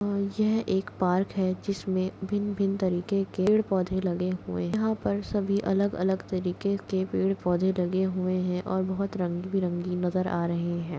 यह एक पार्क है जिसमे भिन भिन तरीके के पेड़ पौधे लगे हुए है यहां पर सभी अलग अलग तरीके के पेड़ पौधे लगे हुए है और बोहोत रंगबेरंगी नज़र आ रहे है।